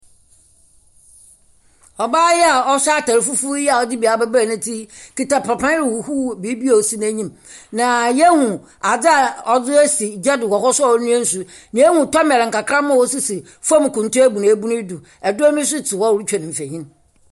Ɔbaa yi a ɔhyɛ atar fufuw yi a ɔdze bi abebare n'etsi kita papa huhuw biribi a osi n'enyim. Na yehu adze a ɔdze esi gya do a ɔnoa nsu. Na ehu tɔmɛl nkakraba a osisi fɔm kuntu ebunebun yi do. Ebinom nso gyina hɔ a wɔretwa mfoni.